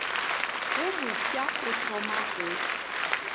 wo mofsa o thoma go